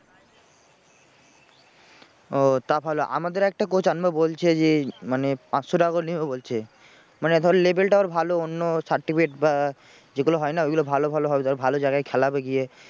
ও তা ভালো আমাদের একটা coach আনবে বলছে যে মানে পাঁচশো টাকা করে নেবে বলছে। মানে ধর level টা ওর ভালো অন্য certificate বা যেগুলো হয় না ওগুলো ভালো ভালো হবে। তারপরে ভালো জায়গায় খেলাবে গিয়ে।